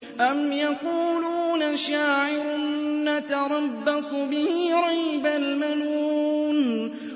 أَمْ يَقُولُونَ شَاعِرٌ نَّتَرَبَّصُ بِهِ رَيْبَ الْمَنُونِ